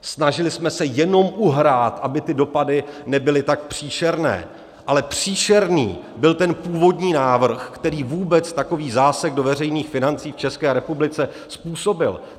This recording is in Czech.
Snažili jsme se jenom uhrát, aby ty dopady nebyly tak příšerné, ale příšerný byl ten původní návrh, který vůbec takový zásek do veřejných financí v České republice způsobil.